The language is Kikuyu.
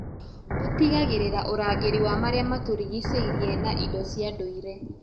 Ũtigagĩrĩra ũrangĩri wa marĩa matũrigicĩirie na indo cia ndũire.